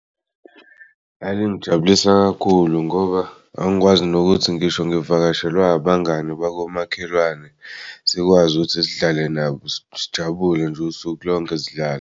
Lalingijabulisa kakhulu ngoba ngangikwazi nokuthi ngisho ngivakashelwe abangani bakamakhelwane sikwazi ukuthi sidlale nabo sijabule nje usuku lonke sidlale.